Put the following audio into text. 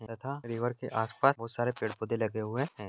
यथा रिवर के आसपास बहुत सारे पेड़ पौधे लगे हुए हैं।